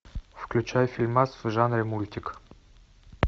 включай фильмас в жанре мультик